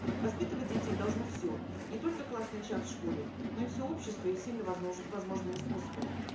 воспитывать детей должно все не только классный час в школе но и все общество и всеми возможными способами